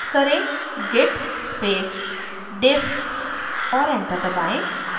type करें: git space diff और enter दबाएँ